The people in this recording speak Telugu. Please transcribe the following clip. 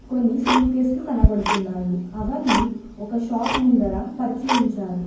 కొన్ని సూట్ కేసులు కనబడుతున్నాయి అవన్నీ ఒక షాప్ ముందర పరిచి ఉంచారు.